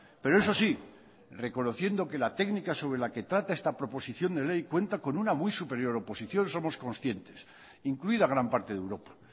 pero eso sí reconociendo que la técnica sobre la que trata esta proposición de ley cuenta con una muy superior oposición somos conscientes incluida gran parte de europa